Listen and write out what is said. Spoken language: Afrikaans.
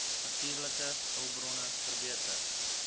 natuurlike hulpbronne verbeter